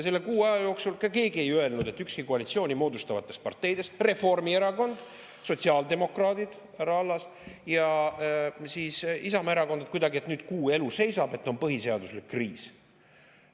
Selle kuu aja jooksul ei öelnud keegi, ükski koalitsiooni moodustavatest parteidest – Reformierakond, sotsiaaldemokraadid, härra Allas, ja Isamaa Erakond –, et nüüd kuu elu seisab ja on põhiseaduslik kriis.